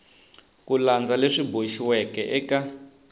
ku landza leswi boxiweke eka